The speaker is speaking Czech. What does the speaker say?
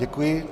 Děkuji.